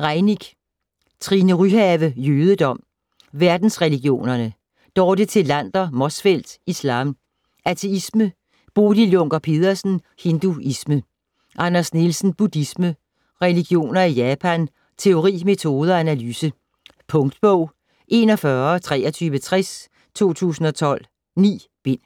Reimick. Trine Ryhave: Jødedom ; Verdensreligionerne. Dorte Thelander Motzfeldt: Islam ; Ateisme. Bodil Junker Pedersen: Hinduisme. Anders Nielsen: Buddhisme ; Religioner i Japan ; Teori, metode og analyse. Punktbog 412360 2012. 9 bind.